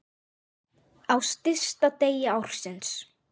Á stysta degi ársins.